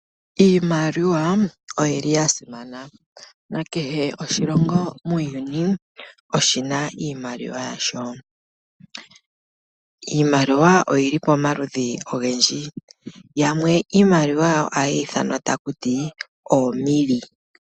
Iimaliwa oyili ya simana nakehe oshilongo muuyuni oshina iimaliwa yasho . Iimaliwa oyili pomaludhi ogendji yamwe iimaliwa yawo ohayi ithanwa takuti oomilli.